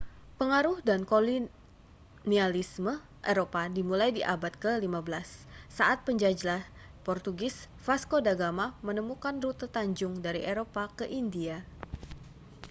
pengaruh dan kolonialisme eropa dimulai di abad ke-15 saat penjelajah portugis vasco da gama menemukan rute tanjung dari eropa ke india